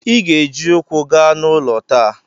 Ị ga-eji ụkwụ gaa n'ụlọ taa!